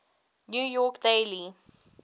new york daily